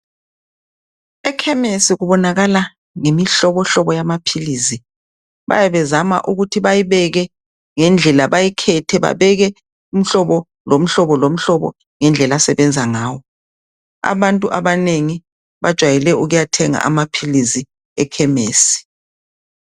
Ekhemesi kubonakala ngemihlobohlobo yamaphilisi. Bayabe bezama ukuthi bayibeke ngendlela bayikhethe babeke umhlobo lomhlobo lomhlobo ngendlela asebenza ngawo. Abantu abanengi bajayele ukuyathenga amaphilis ekhemesi.